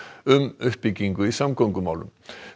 um uppbyggingu í samgöngumálum